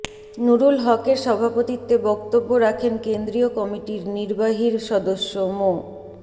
নূরুল হকের সভাপতিত্বে বক্তব্য রাখেন কেন্দ্রীয় কমিটির নির্বাহীর সদস্য মো